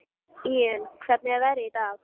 Íunn, hvernig er veðrið í dag?